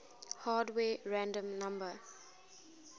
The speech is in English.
hardware random number